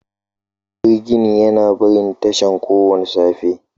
Jirgin yana barin tashar kowace safiya.